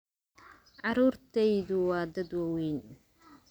Carruurtaydu waa dad waaweyn.